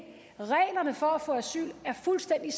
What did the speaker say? reglerne for at få asyl er fuldstændig